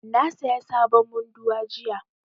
Na saya sabon munduwa jiya